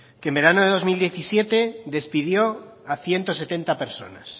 que en verano del dos mil diecisiete despidió a ciento setenta personas